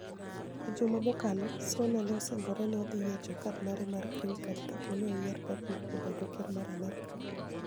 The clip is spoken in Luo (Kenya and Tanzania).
E juma mokalo, Soniia ni e osinigore nii ni e odhi yiecho kad mare mar greeni card kapo nii ni e oyier Babup obed ker mar Amerka.